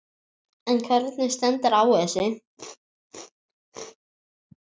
En hvernig stendur á þessu?